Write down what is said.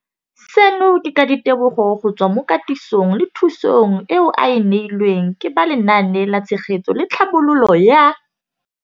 Seno ke ka ditebogo go tswa mo katisong le thu song eo a e neilweng ke ba Lenaane la Tshegetso le Tlhabololo ya